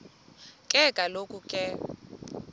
ke kaloku ke